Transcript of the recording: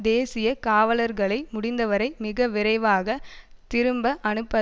தேசிய காவலர்களை முடிந்த வரை மிக விரைவாக திரும்ப அனுப்ப